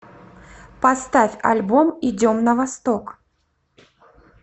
поставь альбом идем на восток